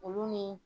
Olu ni